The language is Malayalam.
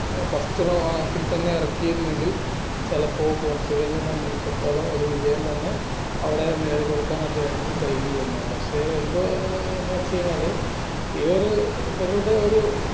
first half ഇൽ തന്നെ ഇറക്കിയിരുന്നെങ്കിൽ ചെലപ്പോ പോർച്ചുഗലിന്റെ സംബന്ധിച്ചെടുത്തോളം ഒരു വിജയം തന്നെ നേടിക്കൊടുക്കാൻ അദ്ദേഹത്തിന് കഴിഞ്ഞിരുന്നു പക്ഷേ എന്തോ ഏർ എന്നെച്ചഴിഞ്ഞാല് ഈ ഒരു ഇവരുടെ ഒര്